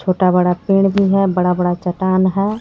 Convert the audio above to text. छोटा बड़ा पेड़ भी हे बड़ा बड़ा चट्टान है.